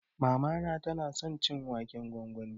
Mamana ta na son cin waken gwangwani